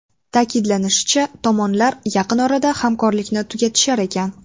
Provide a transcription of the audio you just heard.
Ta’kidlanishicha, tomonlar yaqin orada hamkorlikni tugatishar ekan.